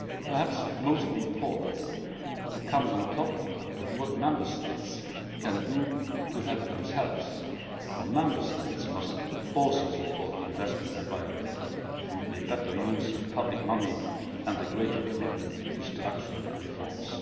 Perhaps most importantly, it comes on top of what Member States can do to help themselves, for Member States must also support the investment environment through better use of public money and a greater commitment to structural reforms.